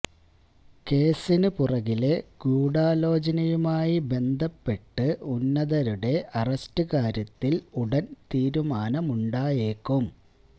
കേസിന് പുറകിലെ ഗൂഢാലോചനയുമായി ബന്ധപ്പെട്ട് ഉന്നതരുടെ അറസ്റ്റ് കാര്യത്തിൽ ഉടൻ തീരുമാനമുണ്ടായേക്കും